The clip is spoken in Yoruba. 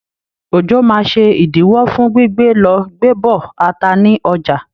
Òjò máa ṣe ìdíwọ́ fún gbígbé lọ gbé bọ̀ ata ní ọjà.